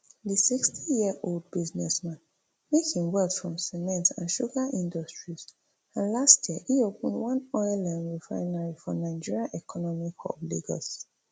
di sixty-sixyearold businessman make im wealth from cement and sugar industries and last year e open one oil um refinery for nigeria economic hub lagos